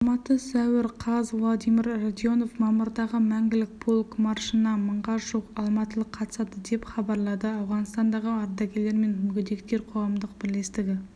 алматы сәуір қаз владимир радионов мамырдағы мәңгілік полк маршына мыңға жуық алматылық қатысады деп хабарлады ауғанстандағы ардагерлер мен мүгедектер қоғамдық бірлестігі